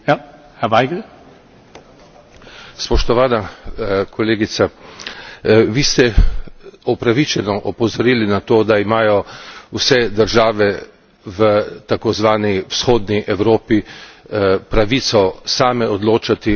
Spoštovana kolegica, vi ste opravičeno opozorili na to, da imajo vse države v takozvani vzhodni Evropi pravico same odločati o svoji bodočnosti in svojih povezavah.